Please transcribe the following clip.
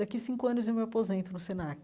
Daqui cinco anos eu me aposento no Senac.